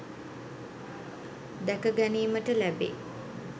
දැක ගැනීමට ලැබේ.